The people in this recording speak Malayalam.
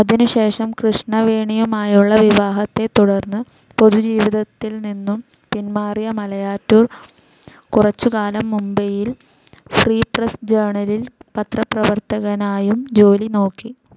അതിനുശേഷം കൃഷ്ണവേണിയുമായുള്ള വിവാഹത്തെത്തുടർന്ന് പൊതുജീവിതത്തിൽനിന്നും പിന്മാറിയ മലയാറ്റൂർ കുറച്ചുകാലം മുംബൈയിൽ ഫ്രീ പ്രസ്‌ ജേർണലിൽ പത്രപ്രവർത്തകനായും ജോലി നോക്കി.